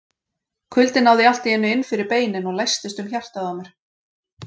Kuldinn náði allt í einu inn fyrir beinin og læstist um hjartað á mér.